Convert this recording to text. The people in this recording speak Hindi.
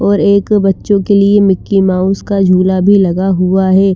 और एक बच्च्पो के लिए मिकी माउस का झुला भी लगा हुआ हे ।